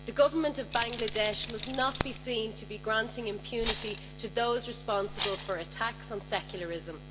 The Government of Bangladesh must not be seen to be granting impunity to those responsible for attacks on secularism.